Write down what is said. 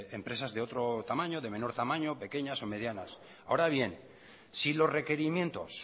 empresas de otro tamaño de menor tamaño pequeñas o medias ahora bien si los requerimientos